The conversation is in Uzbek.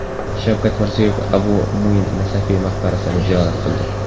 Shavkat Mirziyoyev Abu Muin Nasafiy maqbarasini ziyorat qildi.